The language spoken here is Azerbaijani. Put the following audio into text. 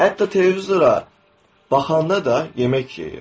Hətta televizora baxanda da yemək yeyir.